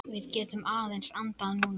Við getum aðeins andað núna.